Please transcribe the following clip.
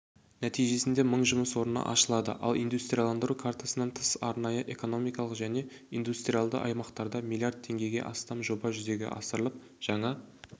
нәтижесінде мың жұмыс орны ашылады ал индустрияландыру картасынан тыс арнайы экономикалық және индустриалды аймақтарда млрд теңгеге астам жоба жүзеге асырылып жаңа